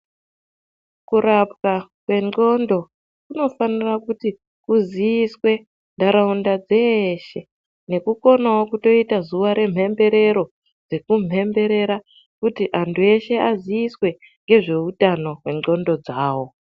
Kurapwa kwendxondo kunofanira kuti kuziiswe ntaraunda dzeshe nekukonawo kutoita zuwa remhemberero rekumhemberera kuti antu eshe aziiswe ngezveutano hwendxondo dzawo.